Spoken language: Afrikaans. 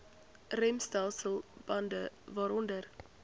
remstelsel bande waaronder